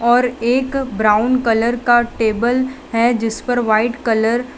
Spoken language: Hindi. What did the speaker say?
और एक ब्राउन कलर का टेबल है जिस पर वाइट कलर --